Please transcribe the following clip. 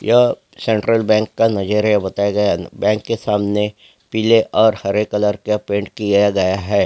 ये central bank का नजरिया बताया गया है बैंक के सामने पीले और हरे कलर का पेंट किआ गया है।